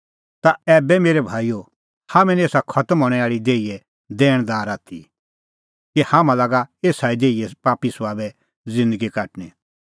तै ए मेरै भाईओ हाम्हैं निं एसा खतम हणैं आल़ी देहीए दैणदार आथी कि हाम्हां लागा एसा ई देहीए पापी सभाबे साबै ज़िन्दगी काटणी